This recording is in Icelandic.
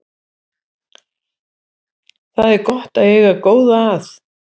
Það er gott að eiga góða að.